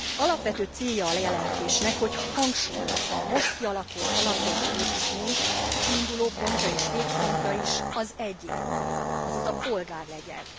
Alapvető célja a jelentésnek, hogy hangsúlyozza, a most kialakult alapjogi építmény kiinduló pontja és végpontja is az egyén, azaz a polgár kell legyen.